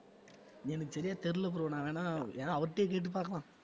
எனக்கு சரியா தெரியல bro நான் வேணா~ ஏன்னா அவர்ட்டயே கேட்டு பார்க்கலாம்